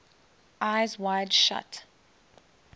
eyes wide shut